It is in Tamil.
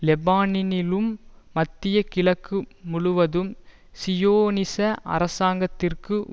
லெபனானிலும் மத்திய கிழக்கு முழுவதும் சியோனிச அரசாங்கத்திற்கு